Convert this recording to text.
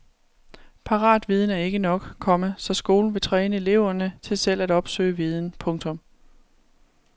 Paratviden er ikke nok, komma så skolen vil træne eleverne til selv at opsøge viden. punktum